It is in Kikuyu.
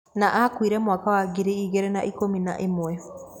na akuire mwaka wa ngiri igĩrĩ na ikũmi na ĩmwe.